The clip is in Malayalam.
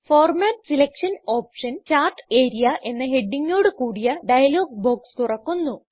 format selection option chart area എന്ന ഹെഡിംഗ് ഓട് കൂടിയ ഡയലോഗ് ബോക്സ് തുറക്കുന്നു